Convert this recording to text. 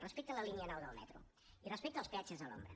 respecte a la línia nou del metro i respecte als peatges a l’ombra